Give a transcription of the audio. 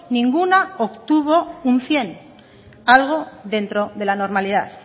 ninguna obtuvo un cien algo dentro de la normalidad